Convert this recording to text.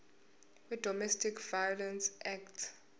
wedomestic violence act